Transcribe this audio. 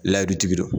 tigi don